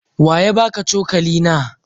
Wa ya baka cokali na?